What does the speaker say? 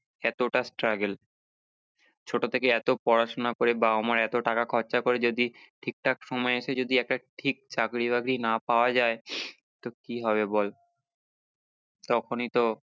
এতটা struggle ছোট থেকে এতো পড়াশোনা করে বাবা মার এতো টাকা খরচা করে যদি ঠিক ঠাক সময় এসে যদি একটা ঠিক চাকরি বাকরি না পাওয়া যায় তো কি হবে বল তখনি তো